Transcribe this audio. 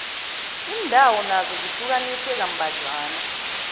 iindawo nazo zihlukaniswe kambadlwana